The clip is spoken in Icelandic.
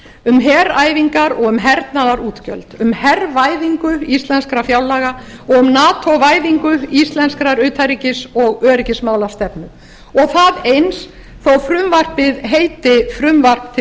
um heræfingar og um hernaðarútgjöld um hervæðingu íslenskra fjárlaga og um nato væðingu íslenskrar utanríkis og öryggismálastefnu og það eins þó frumvarpið heiti frumvarp til